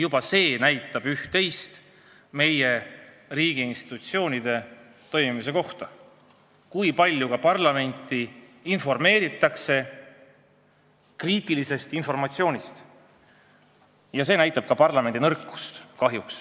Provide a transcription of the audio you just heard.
Ka näitab see üht-teist meie riigiinstitutsioonide toimimise kohta: kui parlamenti informeeritakse kriitilistest juhtumitest nii vähe, siis see näitab kahjuks parlamendi nõrkust.